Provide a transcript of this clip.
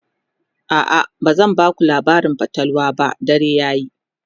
a'a bazan Baku labarin fatalwa ba dare yayi